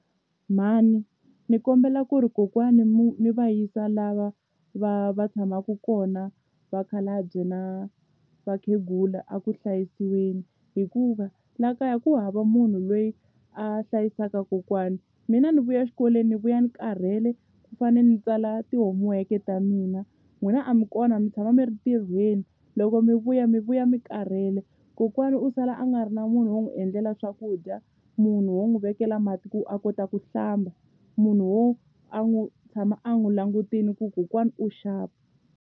Mhani ni kombela ku ri kokwani mi va yisa lava va va tshamaku kona vakhalabye na vakhegula a ku hlayisiweni hikuva laha kaya ku hava munhu loyi a hlayisaka kokwani mina ni vuya exikolweni ni vuya ni karhele ku fanele ni tsala ti-homework-e ta mina n'wina a mi kona mi tshama mi ri ntirhweni loko mi vuya mi vuya mi karhele kokwana u sala a nga ri na munhu wo n'wi endlela swakudya munhu wo n'wi vekela mati ku a kota ku hlamba munhu wo a n'wi tshama a n'wi langutile ku kokwana u xap.